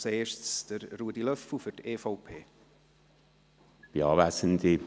Als Erstes spricht Ruedi Löffel für die EVP.